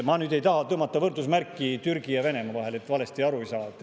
Ma nüüd ei taha tõmmata võrdusmärki Türgi ja Venemaa vahele – et valesti aru ei saadaks.